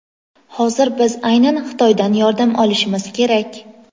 Hozir biz aynan Xitoydan yordam olishimiz kerak.